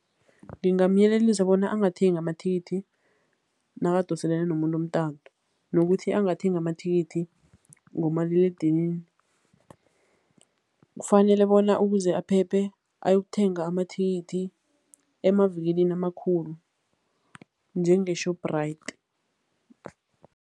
Ngingamyelelisa bona angathengi amathikithi nakadoselene nomuntu umtato nokuthi angathengi amathikithi ngomaliledinini. Kufanele bona ukuze aphephe, ayokuthenga amathikithi emavikilini amakhulu njenge-Shoprite.